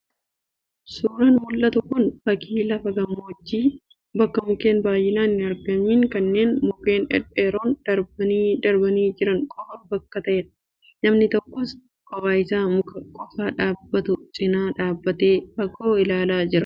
Suuraan mul'atu kun fakii lafa gammoojjii bakka mukeen baay'inaan hin argamiin kan mukeen dhedheeroon darbanii darbanii jiran qofaa bakka ta'edha. Namni tokkos kophaa isaa muka qofaa dhaabbatu cinaa dhaabatee fagoo ilaalaa jira.